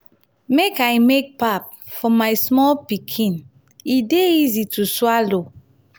make i make pap for my small pikin e dey easy to swallow.